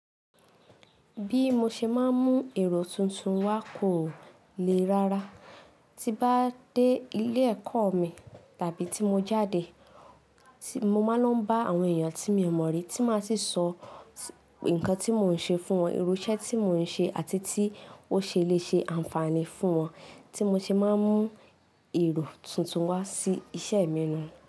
Bí mo ṣe máa ń mú èrò tuntun wá kò lè rára. Ti n bá dé ilé ẹ̀kọ́ mi tàbí tí mo jáde, mo máa lo ń bá àwọn èèyàn tí mio mọ̀ rí tí máa sì sọ nǹkan tí mò ń ṣe fún wọn, irú iṣẹ́ tí mò ń ṣe àti tí ó ṣe lè ṣe ànfààní fún wọn, tí mo ṣe máa ń mú èrò tuntun wá sí iṣẹ́ mi nuun.